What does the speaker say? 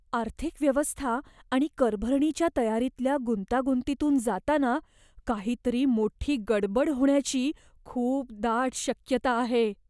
आर्थिक व्यवस्था आणि करभरणीच्या तयारीतल्या गुंतागुंतीतून जाताना काहीतरी मोठी गडबड होण्याची खूप दाट शक्यता आहे.